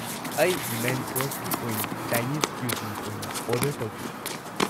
ꯑꯩ ꯃꯦꯟ ꯀꯣꯔꯁꯀꯤ ꯑꯣꯏꯅ ꯆꯥꯏꯅꯤꯁ ꯀꯨꯏꯖꯤꯟ ꯑꯣꯏꯅ ꯑꯣꯔꯗꯔ ꯇꯧꯒꯦ꯫